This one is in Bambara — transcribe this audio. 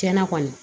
Tiɲɛna kɔni